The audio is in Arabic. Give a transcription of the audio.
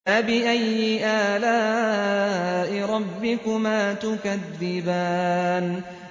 فَبِأَيِّ آلَاءِ رَبِّكُمَا تُكَذِّبَانِ